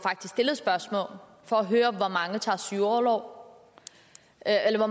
stillet spørgsmål for at høre hvor mange der tager sygeorlov eller